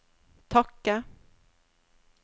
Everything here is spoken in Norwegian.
takke